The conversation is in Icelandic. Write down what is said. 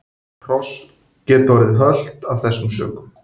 Hross geta orðið hölt af þessum sökum.